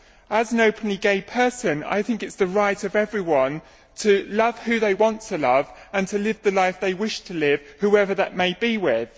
As an openly gay person, I think it is the right of everyone to love who they want to love and to live the life they wish to live, whoever that may be with.